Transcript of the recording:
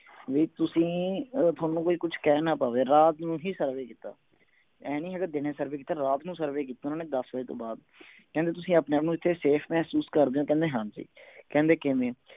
ਵੀ ਤੁਸੀਂ ਥੋਨੂੰ ਕੋਈ ਕੁਛ ਕਹਿ ਨਾ ਪਾਵੇ ਰਾਤ ਨੂੰ ਹੀ survey ਕੀਤਾ ਆਏਂ ਨੀ ਹੈਗਾ ਦੀਨੇ survey ਕੀਤਾ ਰਾਤ ਨੂੰ survey ਕੀਤਾ ਓਹਨਾ ਨੇ ਦੱਸ ਵਜੇ ਤੋਂ ਬਾਅਦ ਕਹਿੰਦੇ ਤੁਸੀਂ ਆਪਣੇ ਆਪ ਨੂੰ ਇਥੇ safe ਮਹਿਸੂਸ ਕਰਦੇ ਤਾਂ ਮੈਂ ਕਹਿੰਦੇ ਕਿਵੇਂ